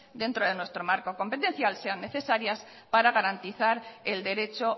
dentro de nuestro marco competencial sean necesarias para garantizar el derecho